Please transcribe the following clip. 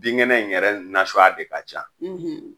Bin kɛnɛ in yɛrɛ nasuya de ka ca